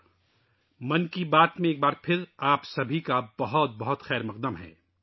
میں ایک بار پھر ' من کی بات ' میں آپ سب کا پرتپاک استقبال کرتا ہوں